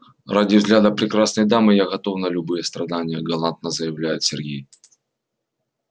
ради взгляда прекрасной дамы я готов на любые страдания галантно заявляет сергей